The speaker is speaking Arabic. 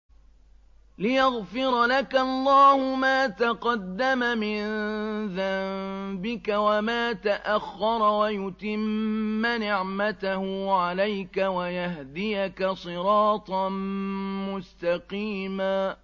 لِّيَغْفِرَ لَكَ اللَّهُ مَا تَقَدَّمَ مِن ذَنبِكَ وَمَا تَأَخَّرَ وَيُتِمَّ نِعْمَتَهُ عَلَيْكَ وَيَهْدِيَكَ صِرَاطًا مُّسْتَقِيمًا